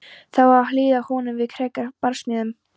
Það á að hlífa honum við frekari barsmíðum.